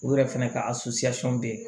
U yɛrɛ fɛnɛ ka bɛ yen